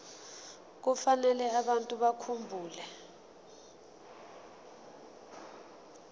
kufanele abantu bakhumbule